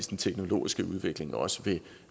den teknologiske udvikling også